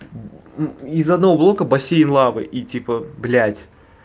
из одного блока бассейн лавы и типа блять